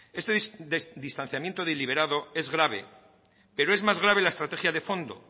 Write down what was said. este distanciamiento deliberado es grave pero es más grave la estrategia de fondo